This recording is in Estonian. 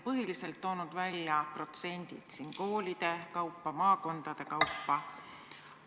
Põhilised protsendid koolide kaupa, maakondade kaupa on välja toodud.